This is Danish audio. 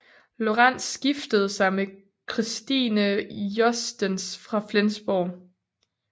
Lorenz giftede sig med Christine Jostens fra Flensborg